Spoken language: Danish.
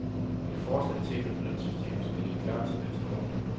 Et forslag til et nyt lønsystem skal ligge klar til næste år.